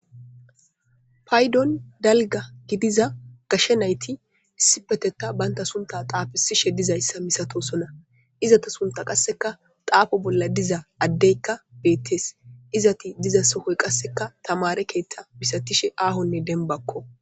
Paydon dalga gidiza gashe nayti isipeteta baynta sunta xaafesishe dizayssa misatosona izata sunta qasseka xaafo bolla diza addeykka beettes izati diza sohoy qasseka tamare keeththa misatishe aahonne denbakko.